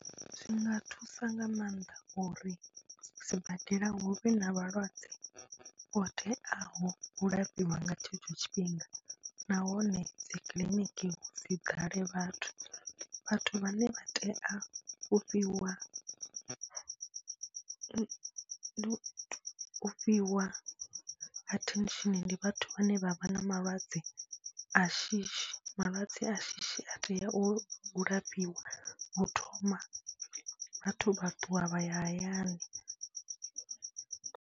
Zwi nga thusa nga maanḓa uri sibadela hu vhe na vhalwadze vho teaho u lafhiwa nga tshetsho tshifhinga nahone dzi kiḽiniki dzi ḓale vhathu, vhathu vhane vha tea u fhiwa, u fhiwa attention ndi vhathu vhane vha vha na malwadze a shishi, malwadze a shishi a tea u lafhiwa u thoma, vhathu vha ṱuwa vha ya hayani.